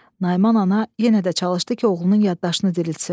Nayman ana yenə də çalışdı ki, oğlunun yaddaşını diriltsin.